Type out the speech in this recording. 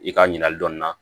I ka ɲininkali dɔɔnin na